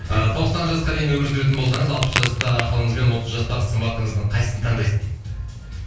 ы тоқсан жасқа дейін өмір сүретін болсаңыз алпыс жастағы ақылыңызбен отыз жастағы сымбатыңыздың қайсысын таңдайсыз дейді